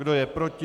Kdo je proti?